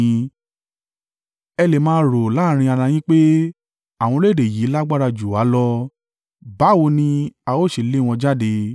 Ẹ lè máa rò láàrín ara yín pé, “Àwọn orílẹ̀-èdè yìí lágbára jù wá lọ. Báwo ni a o ṣe lé wọn jáde?”